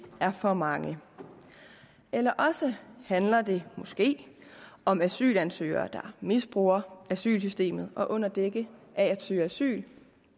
er for mange eller også handler det måske om asylansøgere der misbruger asylsystemet og under dække af at søge asyl